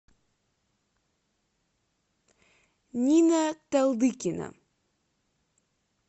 нина талдыкина